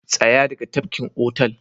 Tsaya daga tafkin otal